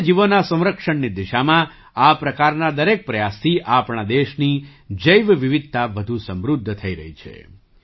વન્ય જીવોના સંરક્ષણની દિશામાં આ પ્રકારના દરેક પ્રયાસથી આપણા દેશની જૈવ વિવિધતા વધુ સમૃદ્ધ થઈ રહી છે